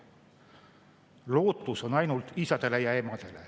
Lootus on ainult isadel ja emadel.